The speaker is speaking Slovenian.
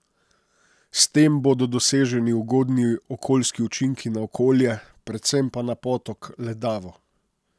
S tem bodo doseženi ugodni okoljski učinki na okolje, predvsem pa na potok Ledavo.